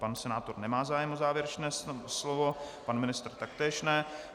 Pan senátor nemá zájem o závěrečné slovo, pan ministr taktéž ne.